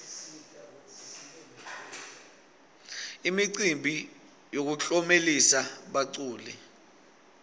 imicimbi yokutlomelisa baculi